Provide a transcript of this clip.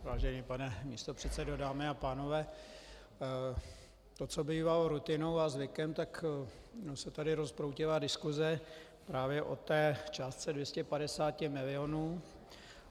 Vážený pane místopředsedo, dámy a pánové, to, co bývalo rutinou a zvykem, tak se tady rozproudila diskuse právě o té částce 250 milionů.